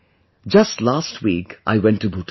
Just last week I went to Bhutan